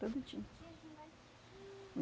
Tudo tinha.